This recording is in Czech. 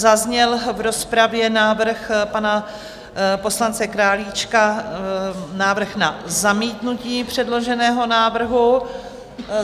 Zazněl v rozpravě návrh pana poslance Králíčka, návrh na zamítnutí předloženého návrhu.